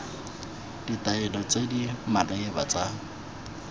ditaelo tse di maleba tsa